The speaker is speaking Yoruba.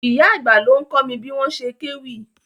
Ìyá àgbà ló ń kọ́ mi bí wọ́n ṣe kéwì.